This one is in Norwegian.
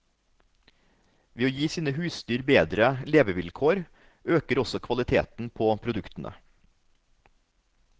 Ved å gi sine husdyr bedre levevilkår, øker også kvaliteten på produktene.